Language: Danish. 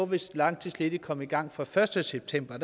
hvis langtidsledige kom i gang fra den første september